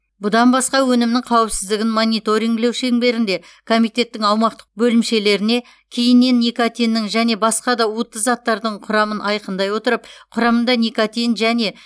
бұдан басқа өнімнің қауіпсіздігін мониторингілеу шеңберінде комитеттің аумақтық бөлімшелеріне кейіннен никотиннің және басқа да уытты заттардың құрамын айқындай отырып құрамында никотин және